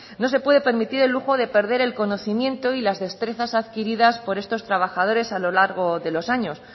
de perder el conocimiento y las destrezas adquiridas por estos trabajadores a lo largo de los años